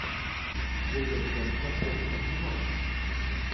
вулверхэмптон против арсенала